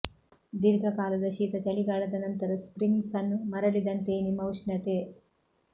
ದೀರ್ಘಕಾಲದ ಶೀತ ಚಳಿಗಾಲದ ನಂತರ ಸ್ಪ್ರಿಂಗ್ ಸನ್ ಮರಳಿದಂತೆಯೇ ನಿಮ್ಮ ಉಷ್ಣತೆ